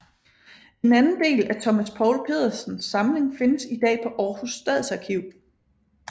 En anden del af Thomas Poul Pedersens samling findes i dag på Aarhus Stadsarkiv